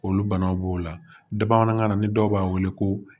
Olu banaw b'o la bamanankan na ni dɔw b'a wele ko